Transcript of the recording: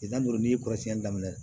Tile tan ni duuru n'i ye kɔrɔsiyɛnni daminɛ